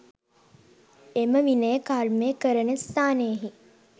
එම විනය කර්මය කරන ස්ථානයෙහි